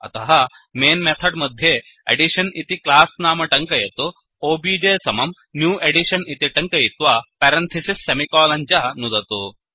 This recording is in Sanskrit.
अतः मैन् मेथड् मध्ये एडिशन इति क्लास्नाम टङ्कयतु ओबीजे समम् न्यू एडिशन इति टङ्कयित्वा पेरन्थिसिस् सेमिकोलन् च नुदतु